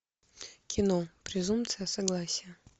кино презумпция согласия